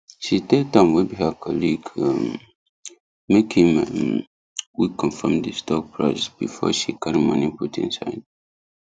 she tell tom wey be her colleague um make him um quick confam di stock price before she carry moni put inside